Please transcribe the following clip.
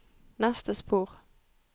neste spor